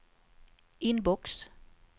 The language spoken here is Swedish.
inbox